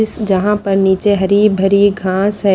इस जहां पर नीचे हरी भरी घास है।